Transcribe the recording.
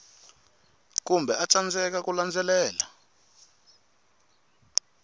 kumbe a tsandzeka ku landzelela